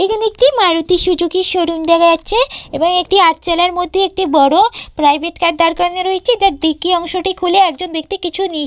এইখানে একটি মারুতি সুজুকির শোরুম দেখা যাচ্ছে এবং একটি আটচালার মধ্যে একটি বড় প্রাইভেট কার দাঁড় করানো রয়েছে এটার ডিকি অংশ টি খুলে একজন ব্যক্তি কিছু নি --